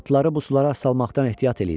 atları bu sulara salmaqdan ehtiyat eləyirəm.